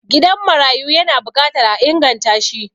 gidan marayu yana bukatar a inganta shi